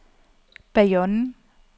Bayonne